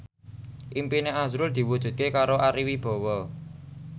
impine azrul diwujudke karo Ari Wibowo